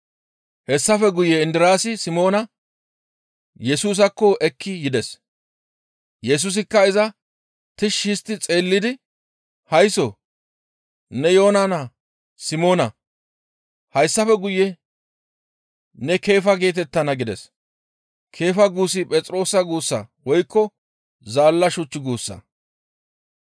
Hessafe guye Indiraasi Simoona Yesusaakko ekki bides. Yesusikka iza tishshi histti xeellidi, «Haysso! Ne Yoona naa Simoona; hayssafe guye ne Keefa geetettana» gides. Keefa guussi Phexroosa guussa woykko zaalla shuch guussa.